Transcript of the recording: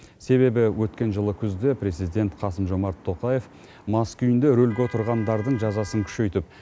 себебі өткен жылы күзде президент қасым жомарт тоқаев мас күйінде рөлге отырғандардың жазасын күшейтіп